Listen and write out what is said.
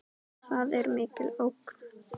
Það er mikil ógn.